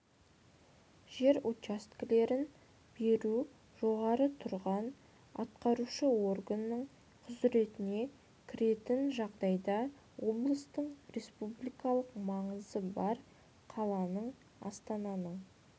жер учаскелерін беру жоғары тұрған атқарушы органның құзыретіне кіретн жағдайларда облыстың республикалық маңызы бар қаланың астананың